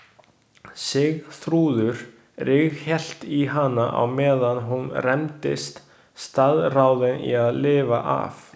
Sigþrúður ríghélt í hana á meðan hún rembdist, staðráðin í að lifa af.